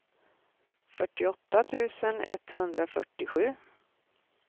fyrtioåtta tusen etthundrafyrtiosju